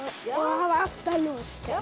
hafa alltaf nóg